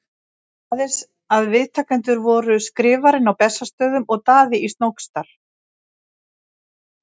Aðeins að viðtakendur voru Skrifarinn á Bessastöðum og Daði í Snóksdal.